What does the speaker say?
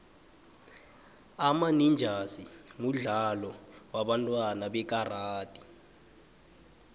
ama ninjasi mudlalo wabantwana wekaradi